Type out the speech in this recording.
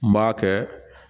N b'a kɛ